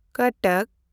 ᱠᱚᱴᱚᱠ